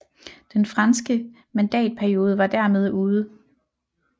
Den franske mandatperiode var dermed ude